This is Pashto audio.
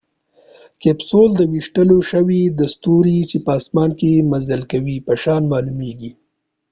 کیپسول به د ویشتل شوي ستوري چې په اسمان کې مزل کوي په شان معلومیږي